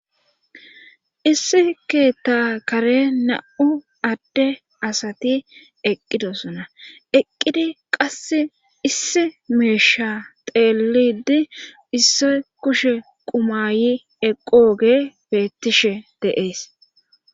issi keetta kare na'u adde asati eqqidosuna eqqidi qass issi meesha teelidi issi kushe qumayi eqqooge beettishe de'ees